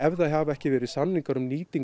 það hafa ekki verið samningar á